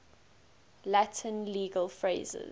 latin legal phrases